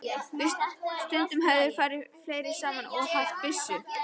Og stundum höfðu þeir farið fleiri saman og haft byssu.